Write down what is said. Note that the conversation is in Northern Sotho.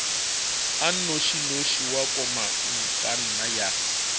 a nnošinoši wa komangkanna ya